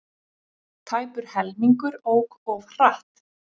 Tæpur helmingur ók of hratt